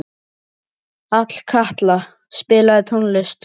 Hallkatla, spilaðu tónlist.